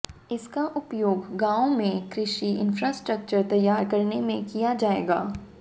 इसका उपयोग गांवों में कृषि इंफ्रास्ट्रक्चर तैयार करने में किया जाएगा